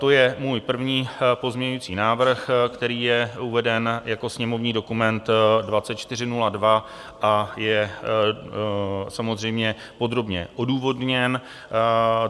To je můj první pozměňovací návrh, který je uveden jako sněmovní dokument 2402, a je samozřejmě podrobně odůvodněn.